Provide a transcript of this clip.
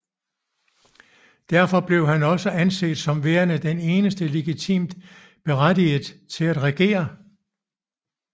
Derfor blev han også anset som værende den eneste legitimt berettiget til at regere